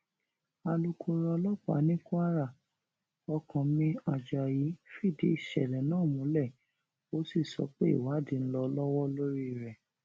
alūkkóró ọlọpàá ní kwara ọkánmi ajayi fìdí ìṣẹlẹ náà múlẹ ó sì sọ pé ìwádìí ń lọ lọwọ lórí rẹ